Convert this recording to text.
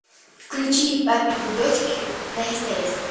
включи папины дочки на стс